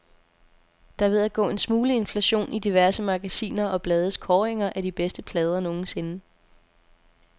Der er ved at gå en smule inflation i diverse magasiner og blades kåringer af de bedste plader nogensinde.